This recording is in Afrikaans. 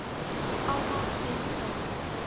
almal stem saam